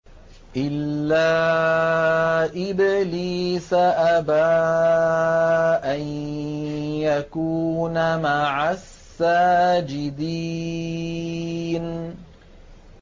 إِلَّا إِبْلِيسَ أَبَىٰ أَن يَكُونَ مَعَ السَّاجِدِينَ